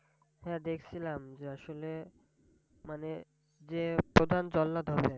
হাঁ দেখছিলাম, যে আসলে মানে যে প্রধান জল্লাদ হবে।